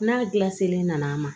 N'a gilasi nana ma